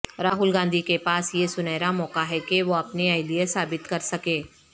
راہل گاندھی کے پاس یہ سنہرا موقع ہے کہ وہ اپنی اہلیت ثابت کر سکیں